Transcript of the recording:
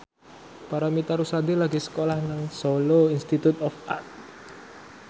Paramitha Rusady lagi sekolah nang Solo Institute of Art